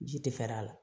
Ji tɛ fɛ a la